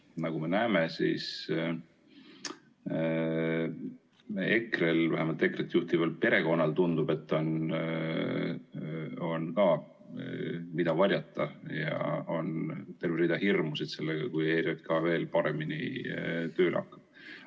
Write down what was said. Nagu me näeme, siis EKRE‑l, vähemalt EKRE‑t juhtival perekonnal, tundub, on ka, mida varjata, ja on terve rida hirmusid seotud sellega, kui ERJK veel paremini tööle hakkab.